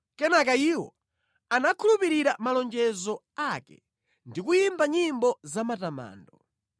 Kenaka iwo anakhulupirira malonjezo ake ndi kuyimba nyimbo zamatamando.